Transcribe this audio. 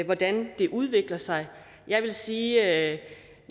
hvordan det udvikler sig jeg vil sige at